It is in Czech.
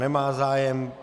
Nemá zájem.